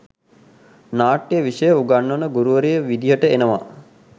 නාට්‍ය විෂය උගන්වන ගුරුවරිය විදිහට එනවා